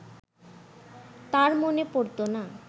তার মনে পড়ত না